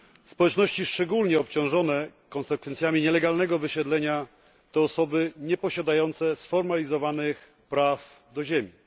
Społeczności szczególnie obciążone konsekwencjami nielegalnego wysiedlenia to osoby nieposiadające sformalizowanych praw do ziemi.